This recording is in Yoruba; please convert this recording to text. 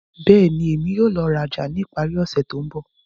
Bẹ́ẹ̀ni, Emi yóò lọ raja ni ipari ose to nbọ.